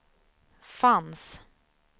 fanns